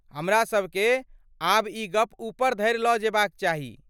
हमरासबकेँ आब ई गप ऊपर धरि लऽ जेबाक चाही।